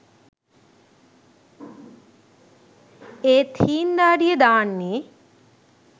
ඒත් හීං දාඩිය දාන්නෙ